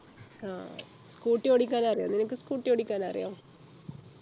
ആഹ് Scooty ഓടിക്കാൻ അറിയോ നിനക്ക് Scooty ഓടിക്കാൻ അറിയോ